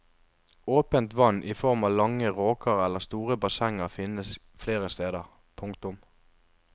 Åpent vann i form av lange råker eller store bassenger finnes flere steder. punktum